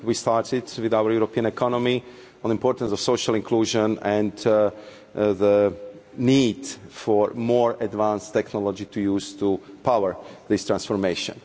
We started with our European economy, on the importance of social inclusion and the need for more advanced technology to use to power this transformation.